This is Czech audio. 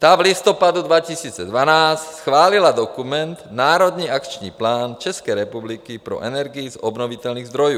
- Ta v listopadu 2012 schválila dokument Národní akční plán České republiky pro energii z obnovitelných zdrojů.